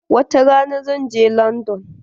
Wata ran zan je landan.